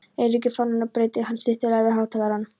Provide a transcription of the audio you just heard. Eiríkur fánann og breiddi hann snyrtilega yfir hátalarann.